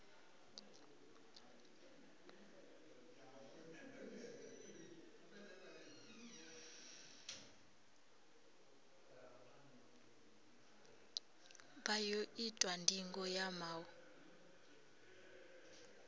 vha ḓo itwa ndingo ya maṱo